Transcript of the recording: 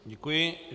Děkuji.